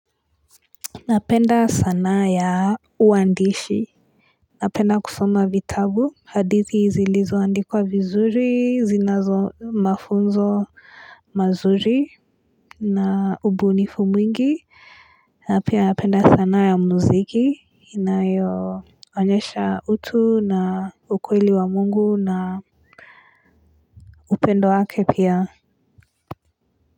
Napenda sanaa ya uandishi Napenda kusoma vitabu, hadithi zilizoandikwa vizuri, zinazo mafunzo mazuri na ubunifu mwingi, napenda sanaa ya muziki, inayo onyesha utu na ukweli wa mungu na upendo wake pia.